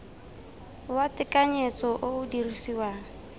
wa tekanyetso o o dirisiwang